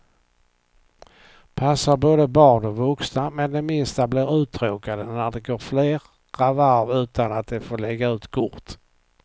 Passar både barn och vuxna, men de minsta blir uttråkade när det går flera varv utan att de får lägga ut kort.